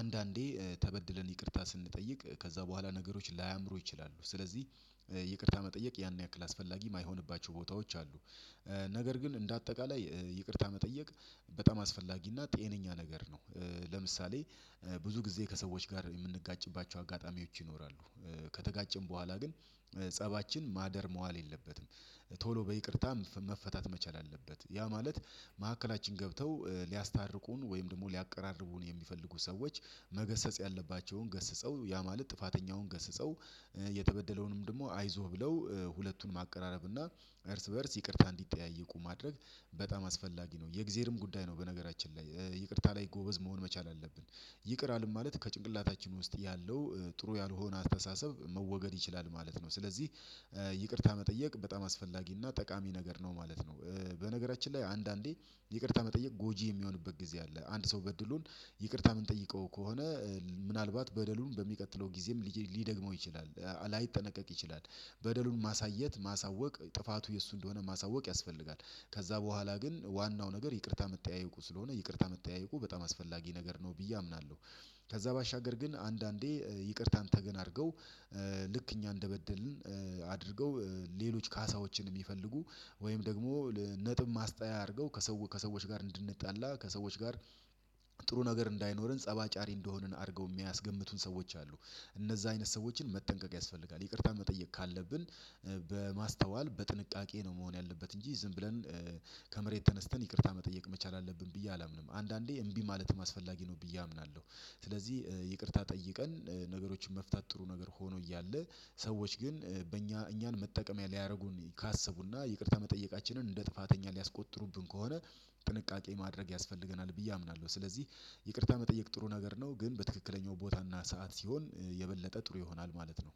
አንዳንዴ ተበድለን ይቅርታ ስንጠይቅ ከዛ በኋላ ነገሮች ላያምሩ ይችላሉ። ስለዚህ ይቅርታ መጠየቅ ያን ያክል አስፈላጊ ማይሆንባቸው ቦታዎች አሉ። ነገር ግን እንደ አጠቃላይ ይቅርታ መጠየቅ በጣም አስፈላጊና ጤነኛ ነገር ነው። ለምሳሌ ብዙ ጊዜ ከሰዎች ጋር የምንጋጭባቸው አጋጣሚዎች ይኖራሉ። ከተጋጨን በኋላ ግን ፀባችን ማደር መዋል የለበትም ቶሎ በይቅርታም መፈታት መቻል አለበት። ያ ማለት ማዕከላችን ገብተው ሊያስታርቁን ወይም ደግሞ ሊያቀራርቡን ሚፈልጉ ሰዎች መገሰጽ ያለባቸውን ገስጸው ያ ማለት ጥፋተኛውን ገስጸው የተበደለውንም ደግሞ አይዞህ ብለው ሁለቱን ማቀራረብ እና እርስ በእርስ ይቅርታ እንዲጠያይቁ ማድረግ በጣም አስፈላጊ ነው። የእግዜርም ጉዳይ ነው። በነገራችን ላይ ይቅርታ ላይ ጎበዝ መሆን መቻል አለብን። ይቅር አለም ማለት ከጭንቅላታችን ውስጥ ያለው ጥሩ ያልሆነ አስተሳሰብ መወገድ ይችላል ማለት ነው። ስለዚህ ይቅርታ መጠየቅ በጣም አስፈላጊ እና ጠቃሚ ነገር ነው ማለት ነው። በነገራችን ላይ አንዳንዴ ይቅርታ መጠየቅ ጎጂ የሚሆንበት ጊዜ አለ። አንድ ሰው በድሎን ይቅርታ ምንጠይቀው ከሆነ ምናልባት በደሉን በሚቀጥለው ጊዜም ሊደግመው ይችላል። ላይጠነቀቅ ይችላል። በደሉን ማሳየት ማሳወቅ ጥፋቱ የሱ እንደሆነ ማሳወቅ ያስፈልጋል። ከዛ በኋላ ግን ዋናው ነገር ይቅርታ መተያየቁ ስለሆነ ይቅርታ መተያየቁ በጣም አስፈላጊ ነገር ነው ብዬ አምናለሁ። ከዛ ባሻገር ግን አንዳንዴ ይቅርታን ተገን አድርገው ልክ እኛ እንደበደልን አድርገው ሌሎች ካሳዎችን ሚፈልጉ ወይም ደግሞ ነጥብ ማስጣያ አርገው ከሰው ከሰዎች ጋር እንድንጣላ ከሰዎች ጋር ጥሩ ነገር እንዳይኖረን ፀብ አጫሪ እንደሆንን አርገው ሚያስገምቱን ሰዎች አሉ። እነዛ አይነት ሰዎችን መጠንቀቅ ያስፈልጋል። ይቅርታ መጠየቅ ካለብን በማስተዋል በጥንቃቄ ነው መሆን ያለበት እንጂ ዝም ብለን ከመሬት ተነስተን ይቅርታ መጠየቅ መቻል አለብን ብዬ አላምንም አንዳንዴ እምቢ ማለት ማስፈላጊ ነው ብዬ አምናለሁ። ስለዚህ ይቅርታ ጠይቀን ነገሮችን መፍታት ጥሩ ነገር ሆኖ እያለ ሰዎች ግን በእኛ እኛን መጠቀሚያ ሊያደርጉን ካሰቡና ይቅርታ መጠየቃችንን እንደ ጥፋተኛ ሊያስቆጥሩብን ከሆነ ጥንቃቄ ማድረግ ያስፈልገናል ብዬ አምናለሁ። ስለዚህ ይቅርታ መጠየቅ ጥሩ ነገር ነው። ግን በትክክለኛው ቦታና ሰዓት ሲሆን የበለጠ ጥሩ ይሆናል ማለት ነው።